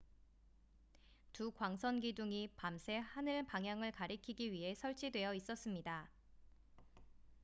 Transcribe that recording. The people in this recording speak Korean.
두 광선 기둥이 밤새 하늘 방향을 가리키기 위해 설치되어 있었습니다